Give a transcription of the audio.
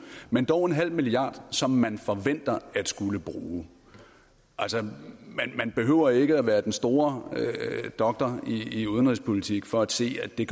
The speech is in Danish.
men dog nul milliard som man forventer at skulle bruge altså man behøver ikke at være den store doktor i udenrigspolitik for at se at det